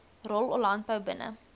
rol landbou binne